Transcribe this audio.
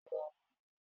Ìjẹta ni mo lọ